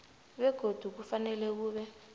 begodu kufanele kube